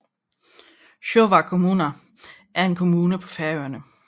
Sjóvar kommuna er en kommune på Færøerne